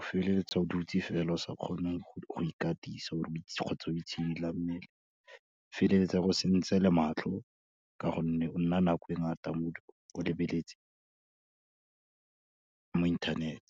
o feleletsa o dutse fela, o sa kgone go ikatisa kgotsa o itshidila mmele, o feleletsa e go sentse le matlho, ka gonne o nna nako e ngata mo, o lebeletse, mo internet.